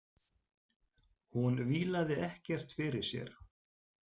Hún vílaði ekkert fyrir sér.